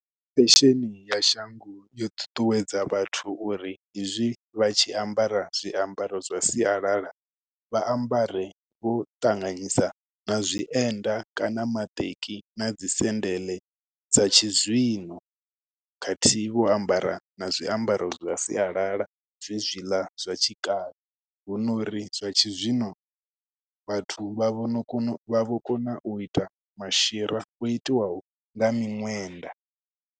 Fesheni ya shango yo ṱuṱuwedza vhathu uri hezwi vha tshi ambara zwiambaro zwa sialala, vha ambare vho ṱanganyisa na zwienda kana maṱeki, na dzi sendele dza tshizwino. Khathihi vho ambara na zwiambaro zwa sialala zwe zwiḽa zwa tshikale. Hu no uri zwa tshizwino, vhathu vha vhono kono, vha vho kona u ita mashira o itiwaho nga miṅwenda.